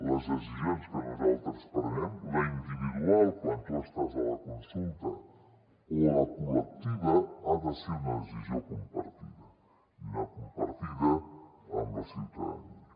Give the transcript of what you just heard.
les decisions que nosaltres prenem la individual quan tu estàs a la consulta o la col·lectiva han de ser unes decisions compartides compartides amb la ciutadania